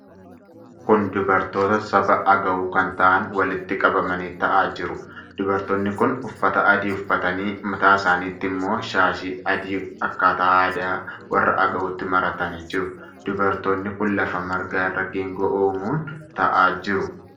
Kun dubartoota saba Agaw kan ta'aan walitti qabamanii ta'aa jiru. Dubartoonni kun uffata adii uffatanii mataa isaanitt ammoo shaashii adii akkaataa aadaa warra Agawutti maratanii jiru. Dubartoonni kun lafa margaa irra geengoo uumuun ta'aa jiru.